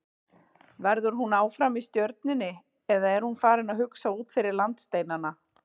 Verður hún áfram í Stjörnunni eða er hún farin að hugsa út fyrir landsteinana?